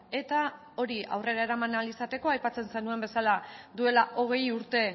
eta hori aurrera eraman ahal izateko aipatzen zenuen bezala duela hogei urte